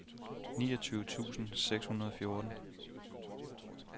niogtyve tusind seks hundrede og fjorten